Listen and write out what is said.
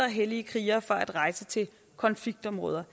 hellige krigere fra at rejse til konfliktområder